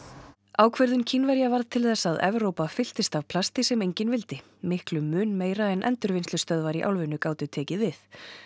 ákvörðun Kínverja varð til þess að Evrópa fylltist af plasti sem enginn vildi miklum mun meira en endurvinnslustöðvar í álfunni gátu tekið við